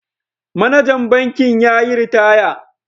Manajan bankin ya yi ritaya.